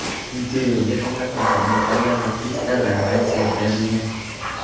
Interyerga qimmatbaho metallar va kristallar bilan zeb berilgan.